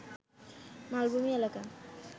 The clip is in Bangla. মালভূমি এলাকা